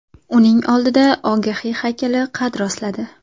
Uning oldida Ogahiy haykali qad rostladi.